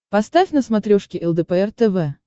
поставь на смотрешке лдпр тв